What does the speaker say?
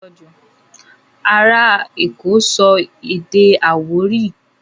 Ará èkó sọ èdè Àwórì